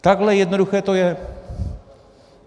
Takhle jednoduché to je.